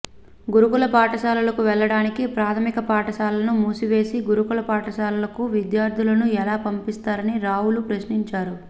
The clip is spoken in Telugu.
గురుకుల పాఠశాలకు వెళ్ళడానికి ప్రాథమిక పాఠశాలలను మూసేసి గురుకుల పాఠశాలలకు విద్యార్థులను ఎలా పంపిస్తారని రావుల ప్రశ్నించారు